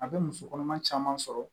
A bɛ muso kɔnɔma caman sɔrɔ